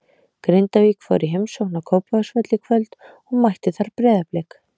Grindavík fór í heimsókn á Kópavogsvöll í kvöld og mættu þar Breiðablik.